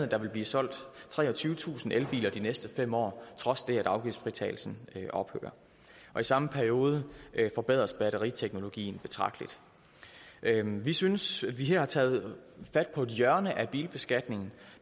der vil blive solgt treogtyvetusind elbiler de næste fem år trods det at afgiftsfritagelsen ophører i samme periode forbedres batteriteknologien betragteligt vi synes vi her har taget fat på et hjørne af bilbeskatningen